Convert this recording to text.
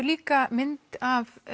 líka mynd af